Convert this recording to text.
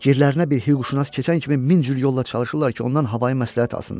Girilərinə bir hüquqşünas keçən kimi min cür yolla çalışırlar ki, ondan havayı məsləhət alsınlar.